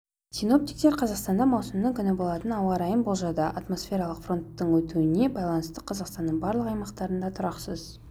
синоптиктер қазақстанда маусымның күні болатын ауа райын болжады атмосфералық фронттардың өтуіне байланысты қазақстанның барлық аймақтарында тұрақсыз